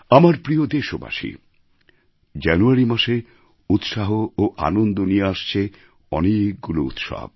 আমার প্রিয় দেশবাসী জানুয়ারি মাসে উৎসাহ ও আনন্দ নিয়ে আসছে অনেকগুলি উৎসব